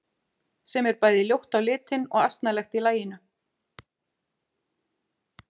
Sem er bæði ljótt á litinn og asnalegt í laginu.